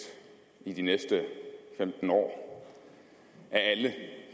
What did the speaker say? i de næste femten år af alle